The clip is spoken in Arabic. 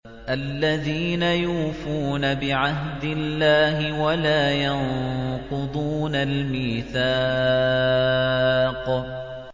الَّذِينَ يُوفُونَ بِعَهْدِ اللَّهِ وَلَا يَنقُضُونَ الْمِيثَاقَ